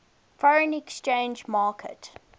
foreign exchange market